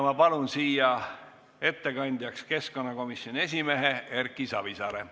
Ma palun siia ettekandjaks keskkonnakomisjoni esimehe Erki Savisaare.